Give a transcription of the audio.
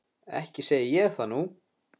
Ekki segi ég það nú.